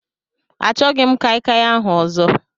Achọghị m kai kai ahụ ọzọ.